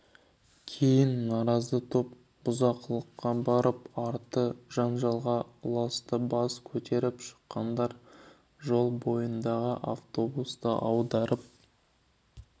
кейін наразы топ бұзақылыққа барып арты жанжалға ұласты бас көтеріп шыққандар жол бойындағы автобусты аударып